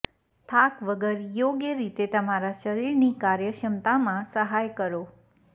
થાક વગર યોગ્ય રીતે તમારા શરીરની કાર્યક્ષમતામાં સહાય કરો